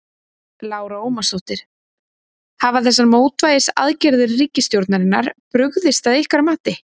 Lára Ómarsdóttir: Hafa þessar mótvægisaðgerðir ríkisstjórnarinnar brugðist að ykkar mati?